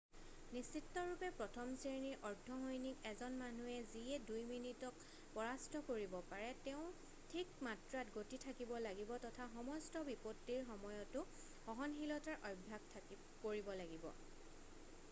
নিশ্চিতৰূপে প্ৰথম শ্ৰেৰ্ণীৰ অৰ্ধ-সৈনিক এজন মানুহ যিয়ে দুই মিনিটক পৰাস্ত কৰিব পাৰে ,তেওঁৰ ঠিক মাত্ৰাত গতি থাকিব লাগিব তথা সমস্ত বিপত্তিৰ সময়তো সহনশীলতাৰ অভ্যাস কৰিব লাগিব।